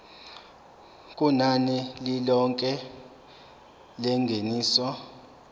kunani lilonke lengeniso